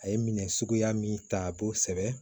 A ye minɛ suguya min ta a b'o sɛbɛn